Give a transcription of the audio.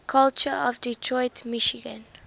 culture of detroit michigan